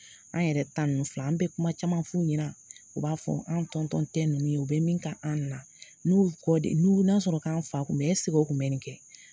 An yɛrɛ ta ninnu filɛ, an bɛ kuma caman f'u ɲɛna, u b'a fɔ an tɔntɔn tɛ ninnu ye, u bɛ min ka an na, n'u kɔ de n'u n'a sɔrɔ k'an fa kun bɛ yen ɛsek'o kun bɛ nin kɛ?